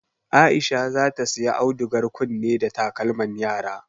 Aisha zata siya audugar kunne da takalman yara